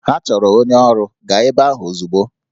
Ha chọrọ onye ọrụ, gaa ebe ahụ ozugbo!